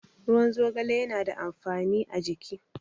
Ruwan zogale yana da amfani a jiki.